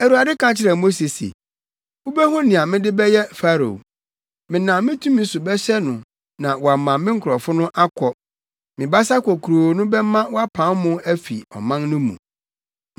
Awurade ka kyerɛɛ Mose se, “Wubehu nea mede bɛyɛ Farao. Menam me tumi so bɛhyɛ no na wama me nkurɔfo no akɔ; me basa kokuroo no bɛma wapam wɔn afi ɔman no mu.”